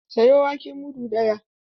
Sayo wake mudu ɗaya!